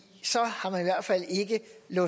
en